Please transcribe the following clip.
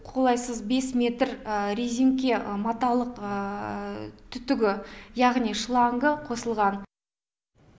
қолайсыз бес метр резеңке маталық түтігі яғни шлангы қосылған